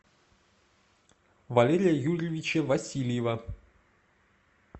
валерия юрьевича васильева